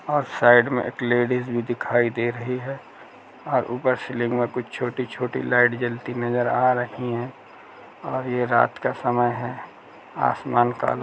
और साइड में एक लेडीज भी दिखाई दे रही है और ऊपर सीलिंग मे कुछ छोटी छोटी लाइट जलती नजर आ रही है और ये रात का समय है आसमान काला --